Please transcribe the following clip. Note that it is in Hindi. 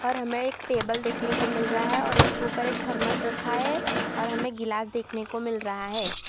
हमें एक टेबल देखने को मिल रहा है और उसके ऊपर एक थर्मस रखा है और हमें गिलास देखने को मिल रहा है।